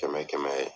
Kɛmɛ kɛmɛ